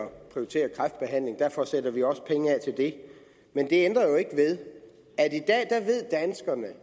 prioritere kræftbehandling derfor sætter vi også penge af til det men det ændrer jo ikke ved at danskerne